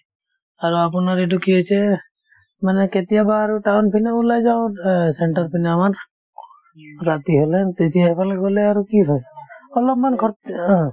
আৰু আপোনাৰ এইটো কি হৈছে মানে কেতিয়াবা আৰু town পিনে ওলাই যাওঁ অ centre পিনে আমাৰ ৰাতি হ'লে তেতিয়া সেইফালে গ'লে আৰু কি হয় অলপমান অ